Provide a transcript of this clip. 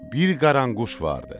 Bir qaranquş vardı.